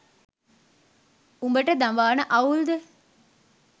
උඹට දඹාන අවුල්ද?